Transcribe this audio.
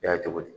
I y'a cogo di